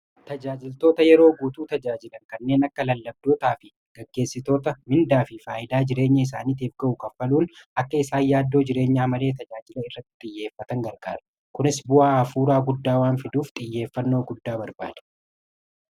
Jajaajiltoota yeroo guutuu tajaajilan kanneen akka lallabdootaa fi gaggeessitoota mindaa fi faayidaa jireenya isaaniitif ga'u kaffaluun akka isaan yaaddoo jireenyaa malee tajaajila irratti xiyyeeffatan garqaara. Kunis bu'aa hafuuraa guddaa waan fiduuf xiyyeeffannoo guddaa barbaada.